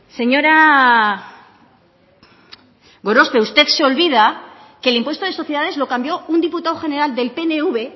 señora gorospe usted se olvida que el impuesto de sociedades lo cambió un diputado general del pnv